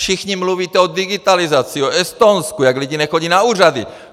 Všichni mluvíte o digitalizaci, o Estonsku, jak lidé nechodí na úřady.